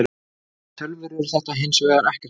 fyrir tölvur er þetta hins vegar ekkert mál